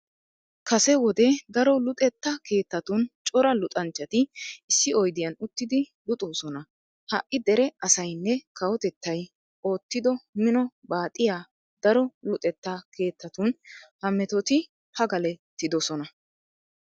Kase wode daro luxetta keettatun cora luxanchchati issi oydiyan uttidi luxoosona. Ha"i dere asaynne kawotettay oottido mino baaxiya daro luxetta keettatun ha metoti pagalettidosona.